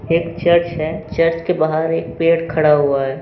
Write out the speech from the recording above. एक चर्च है। चर्च के बाहर एक पेड़ खड़ा हुआ है।